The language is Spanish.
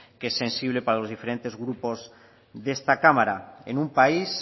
que es sensible para los diferentes grupos de esta cámara en un país